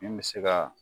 Min bɛ se ka